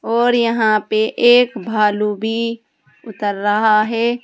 और यहां पे एक भालू भी उतर रहा है।